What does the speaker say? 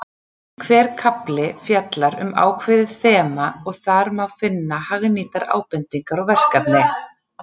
Hver kafli fjallar um ákveðið þema og þar má finna hagnýtar ábendingar og verkefni.